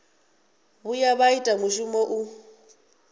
vhuya vha ita mushumo u